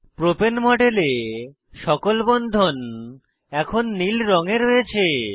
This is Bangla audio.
প্রোপেন মডেলে সকল বন্ধন এখন নীল রঙে রয়েছে